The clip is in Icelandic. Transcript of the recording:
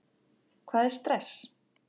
Hvað er stress?